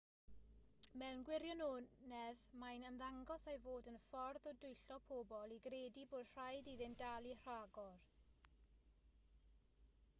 mewn gwirionedd mae'n ymddangos ei fod yn ffordd o dwyllo pobl i gredu bod rhaid iddynt dalu rhagor